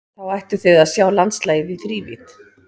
Þá ættuð þið að sjá landslagið í þrívídd.